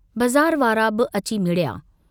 बज़ार वारा बि अची मिड़िया।